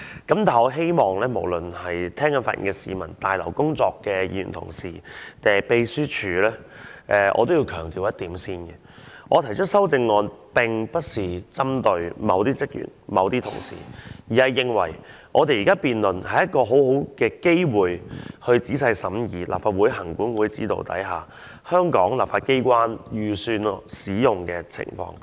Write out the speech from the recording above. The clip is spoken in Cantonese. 對於無論是正在收聽本會辯論的市民，還是在大樓工作的議員同事和秘書處職員，我都要先強調一點，我提出這項修正案，並不是針對某些職員或某些同事，而是認為現時的辯論是一個很好的機會，讓我們可仔細審議在立法會行管會指導下，香港立法機關預算開支的使用情況。